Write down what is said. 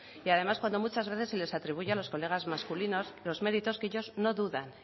y además cuando muchas veces se les atribuyen a los colegas masculinos los méritos que ellos no dudan